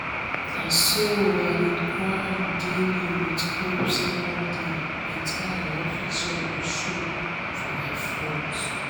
na so i dey grind daily with hope say one day better um office job go show for my front.